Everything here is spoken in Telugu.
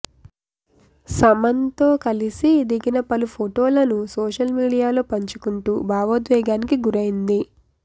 సమన్తో కలిసి దిగిన పలు ఫొటోలను సోషల్ మీడియాలో పంచుకుంటూ భావోద్వేగానికి గురైంది